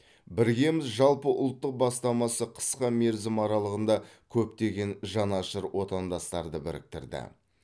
біргеміз жалпыұлттық бастамасы қысқа мерзім аралығында көптеген жанашыр отандастарды біріктірді